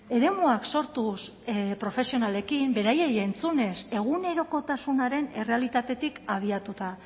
eremuak sortuz profesionalekin beraiei entzunez egunerokotasunaren errealitatetik abiatuta